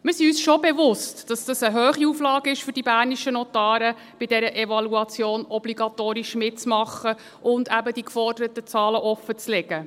Wir sind uns bewusst, dass es eine hohe Auflage für die bernischen Notare ist, bei der Evaluation obligatorisch mitzumachen und eben die geforderten Zahlen offenzulegen.